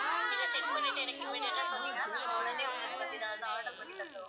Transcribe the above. நீங்க check பண்ணிட்டு எனக்கு immediate ஆ சொன்னிங்கனா நாங்க உடனே உங்களுக்கு வந்து இதால தான் order பண்ணி தந்திடுவோம்